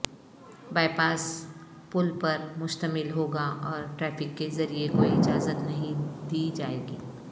bypass پل پر مشتمل ہوگا اور ٹریفک کے ذریعے کوئی اجازت نہیں دی جائے گی